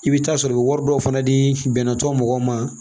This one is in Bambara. I bɛ taa sɔrɔ i bɛ wari dɔw fana di bɛnɛ tɔ mɔgɔw ma